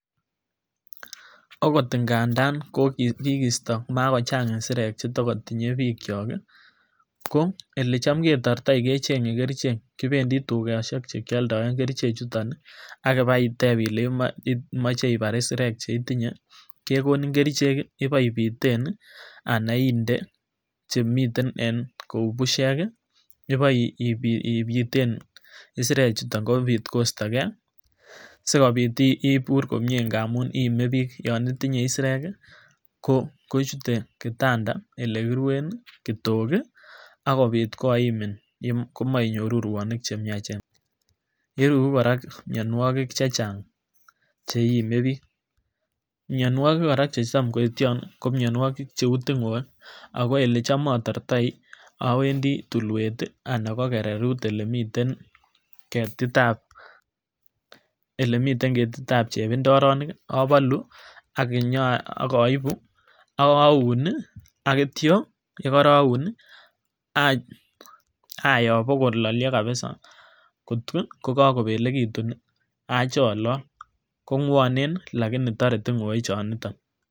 Okot ingandan kikisto makochang isirek chetokotinye bikyok kii ko olecham ketortoi kechenge kerichek kipendii tukoshek chekioldoen kerichek chuton nii ak ibaiteb ile imoche ibar isirek cheitinye kekonin kerichek kii iboibiten anan inde chemiten en kou bushek kii iboipiten isirek chuton kobit koisto gee sikobit ibur komie ngamun iime bik yon itinyee isirek kii ko kochute kitanda ele kiruen nii kotok kii akobit koimin komoinyoruu ruonik chemiachen. Iruru koraa mionwoki che chang cheiime bik , mionwoki koraa chetam koityon nii ko mionwoki cheu tingoek ako ele cham otortoi owendii tulwek tii anan ko kererut olemiten ketit an chebindoronik obolu ak inyoa ak oibu ak ounii aityo yekoroun nii ayoo bokololio kabisa kotko yekokobelekitun acholol kogwonen nii lakini tore tinggoek choniton.